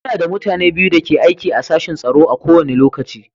Muna da mutane biyu da ke aiki a sashin tsaro a kowane lokaci.